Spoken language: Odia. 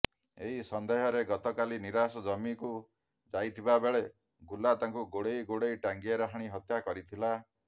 ଏହି ସନ୍ଦେହରେ ଗତକାଲି ନିରାଶ ଜମିକୁ ଯାଇଥିବାବେଳେ ଗୁଲା ତାଙ୍କୁ ଗୋଡାଇ ଗୋଡାଇ ଟାଙ୍ଗିଆରେ ହାଣି ହତ୍ୟା କରିଥିଲା